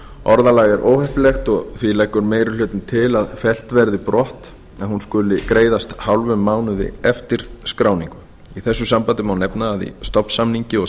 orðalagið er óheppilegt og því leggur meiri hlutinn til að fellt verði brott að hún skuli greiðast hálfum mánuði eftir skráningu í þessu sambandi má nefna að í stofnsamningi og